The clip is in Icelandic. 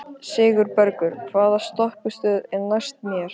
Sigurbergur, hvaða stoppistöð er næst mér?